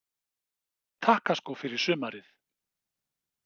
Langar þig í nýja takkaskó fyrir sumarið?